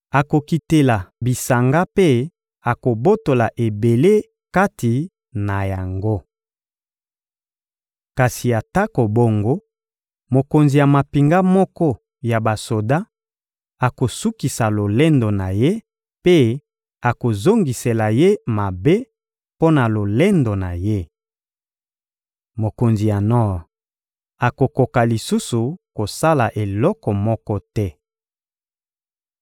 Akokitela bisanga mpe akobotola ebele kati na yango. Kasi atako bongo, mokonzi ya mampinga moko ya basoda akosukisa lolendo na ye mpe akozongisela ye mabe mpo na lolendo na ye. Mokonzi ya nor akokoka lisusu kosala eloko moko te.